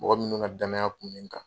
Mɔgɔ minnu ka danaya kun bɛ n kan.